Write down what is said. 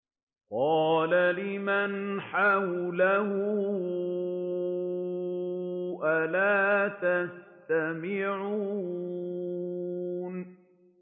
قَالَ لِمَنْ حَوْلَهُ أَلَا تَسْتَمِعُونَ